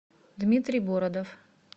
дмитрий бородов